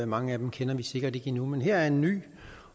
mange af dem kender vi sikkert ikke endnu men her er en ny